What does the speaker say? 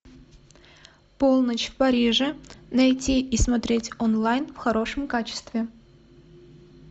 полночь в париже найти и смотреть онлайн в хорошем качестве